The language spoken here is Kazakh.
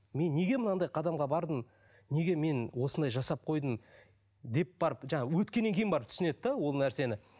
мен неге мынандай қадамға бардым неге мен осындай жасап қойдым деп барып жаңа өткенен кейін барып түсінеді де ол нәрсені